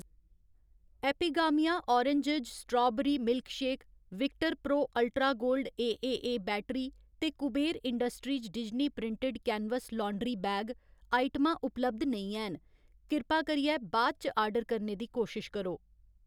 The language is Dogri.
Epigamia origins strawberry milkshake, Victor Pro ultra gold AAA battery ते Kuber industries Disney printed canvas laundry bag आइटमां उपलब्ध नेईं हैन, किरपा करियै बा'द इच ऑर्डर करने दी कोशश करो